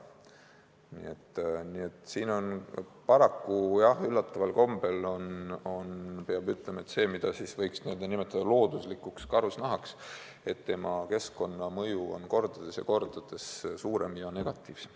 Nii et siin paraku, jah, üllataval kombel, peab ütlema, et see, mida võiks nimetada looduslikuks karusnahaks, tema keskkonnamõju on kordades ja kordades suurem ning negatiivsem.